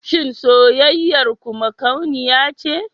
Shin soyayyar ku makauniya ce?